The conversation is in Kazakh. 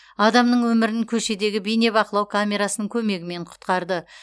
адамның өмірін көшедегі бейнебақылау камерасының көмегімен құтқарды